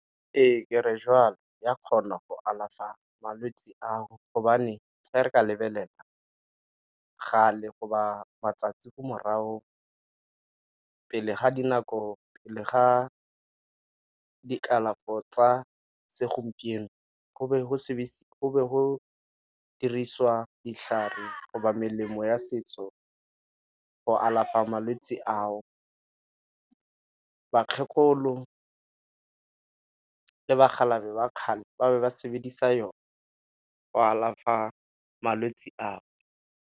Ee kere jwalo, ya kgona go alafa malwetse ao gobane ga re ka lebelela kgale go ba matsatsi ko morago pele ga dinako le ga dikalafo tsa segompieno go be go dirisiwa ditlhare go ba melemo ya setso go alafa malwetse a ao. Bakgekolo le bakgalaje ba kgale ba be ba sebedisa yone go alafa malwetse ao.